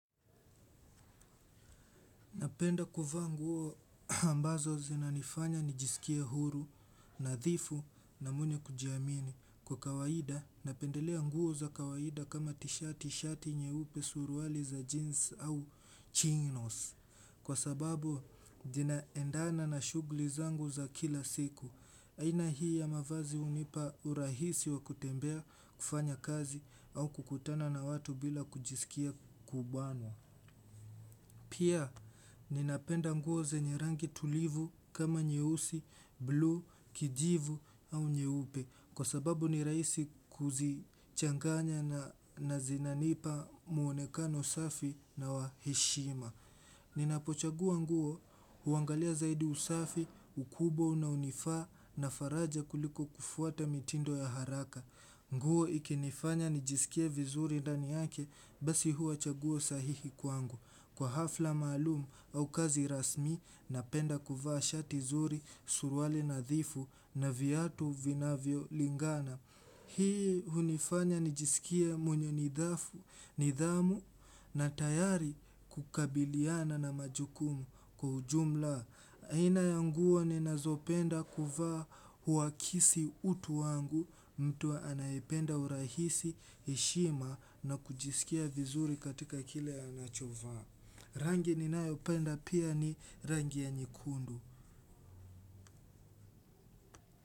Napenda kuvaa nguo ambazo zinanifanya nijisikie huru, nadhifu na mwenye kujiamini. Kwa kawaida, napendelea nguo za kawaida kama tishati shati nyeupe suruali za jeans au chinos. Kwa sababu, zinaendana na shughuli zangu za kila siku. Aina hii ya mavazi hunipa urahisi wa kutembea kufanya kazi au kukutana na watu bila kujisikia kubanwa. Pia ninapenda nguo zenye rangi tulivu kama nyeusi, bluu, kijivu au nyeupe kwa sababu ni rahisi kuzichanganya na zinanipa mwonekano safi na wa heshima. Ninapochagua nguo huangalia zaidi usafi ukubwa unaonifaa na faraja kuliko kufuata mitindo ya haraka. Nguo ikinifanya nijisikie vizuri ndani yake basi huwa chaguo sahihi kwangu. Kwa hafla maalum au kazi rasmi napenda kuvaa shati zuri suruali nadhifu na viatu vinavyolingana. Hii hunifanya nijisikie mwenye nidhamu na tayari kukabiliana na majukumu kwa ujumla. Aina ya nguo ninazopenda kuvaa huakisi utu wangu mtu anaependa urahisi heshima na kujisikia vizuri katika kile anachovaa. Rangi ninayopenda pia ni rangi ya nyekundu.